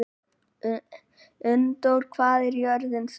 Unndór, hvað er jörðin stór?